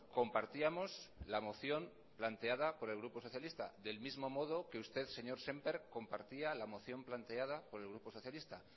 compartíamos la moción planteada por el grupo socialista del mismo modo que usted señor semper compartía la moción planteada por el grupo socialista